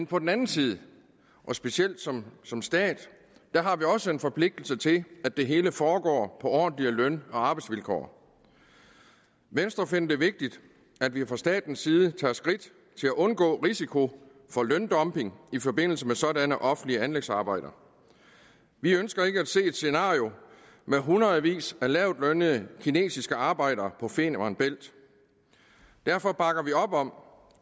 på den anden side og specielt som som stat har vi også en forpligtelse til at det hele foregår på ordentlige løn og arbejdsvilkår venstre finder det vigtigt at vi fra statens side tager skridt til at undgå risiko for løndumping i forbindelse med sådanne offentlige anlægsarbejder vi ønsker ikke at se et scenario med hundredvis af lavtlønnede kinesiske arbejdere på femern bælt derfor bakker vi op om